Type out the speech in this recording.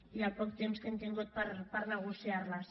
i el poc temps que hem tingut per negociarles